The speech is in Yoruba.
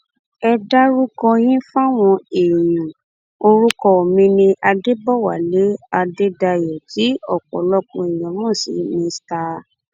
ẹ dárúkọ yín fáwọn èèyàn orúkọ mi ní adébọwálé adédáyò tí ọpọlọpọ èèyàn mọ sí mr